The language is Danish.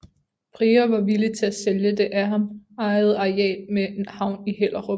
Prior var villig til at sælge det af ham ejede areal med havn i Hellerup